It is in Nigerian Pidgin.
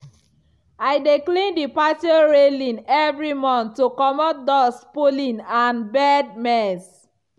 i dey clean the patio railing every month to comot dust pollen and bird mess.